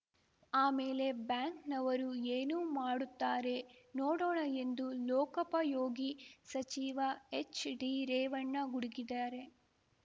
ಆಮೇಲೆ ಬ್ಯಾಂಕ್‌ನವರು ಏನು ಮಾಡುತ್ತಾರೆ ನೋಡೋಣ ಎಂದು ಲೋಕಪಯೋಗಿ ಸಚಿವ ಎಚ್‌ಡಿರೇವಣ್ಣ ಗುಡುಗಿದ್ದಾರೆ